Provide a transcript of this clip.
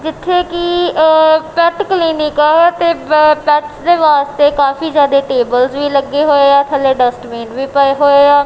ਇਥੇ ਕੀ pet clinic ਆ ਤੇ ਪੈਟ ਦੇ ਵਾਸਤੇ ਕਾਫੀ ਜਿਆਦਾ ਟੇਬਲਸ ਵੀ ਲੱਗੇ ਹੋਏ ਆ ਥੱਲੇ ਡਸਟ ਬਿਨ ਵੀ ਪਾਏ ਹੋਏ ਆ।